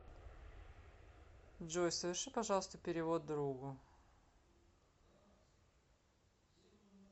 джой соверши пожалуйста перевод другу